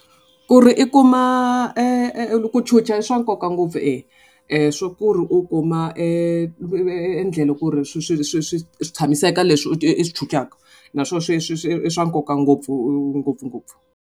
Ku ri i kuma ku chuchisa i swa nkoka ngopfu e swa ku ri u kuma endlelo ku ri swi swi swi swi swi tshamiseka leswi i swi i swi naswona sweswi i swa nkoka ngopfu ngopfungopfu.